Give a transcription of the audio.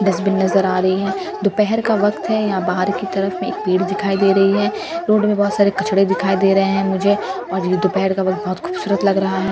Dustbin नजर आ रही है दोपहर का वक्त है यहां बाहर की तरफ में एक पेड़ दिखाई दे रही है रोड में बहुत सारे कचड़े दिखाई दे रहे हैं मुझे और ये दोपहर का वक्त बहोत खूबसूरत लग रहा है।